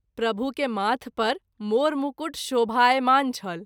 प्रभु के माथ पर मोर मुकट शोभायमान छल।